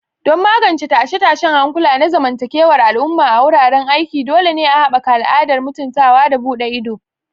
Don magance tashe-tashen hankula na zamantakewar al'umma a wuraren aiki, dole ne a haɓaka al'adar mutuntawa da buɗe ido.